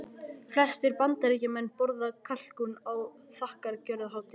Flestir Bandaríkjamenn borða kalkún á þakkargjörðarhátíðinni.